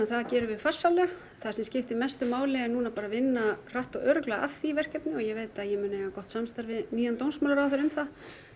það gerum við farsællega það sem skiptir mestu máli er núna að vinna hratt og örugglega að því verkefni og ég veit að ég mun eiga gott samstarf við nýjan dómsmálaráðherra um það